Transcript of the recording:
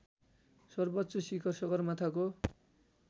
सर्वोच्च शिखर सगरमाथाको